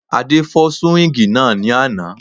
Adé fọ́ súwíngì náà ní àná